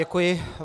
Děkuji.